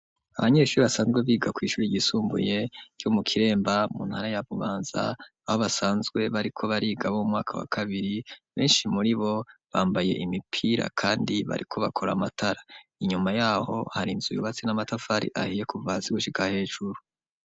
Abanyeshure basanzwe biga kw'ishuri ryisumbuye ryo mu Kiremba mu ntara ya Bubanza aho basanzwe bariko bariga bo umwaka wa kabiri, benshi muri bo bambaye imipira kandi bariko bakora amatara; inyuma yaho hari inzu yubatsi n'amatafari ahiye kuva hasi gushika hejuru.